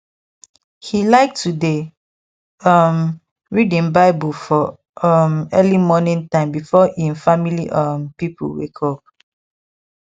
he like to dey um read him bible for um early morning time before him family um people wake